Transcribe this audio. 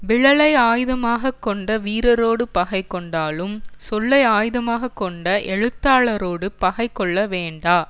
விலலை ஆயுதமாக கொண்ட வீரரோடு பகை கொண்டாலும் சொல்லை ஆயுதமாக கொண்ட எழுத்தாளரோடு பகை கொள்ள வேண்டா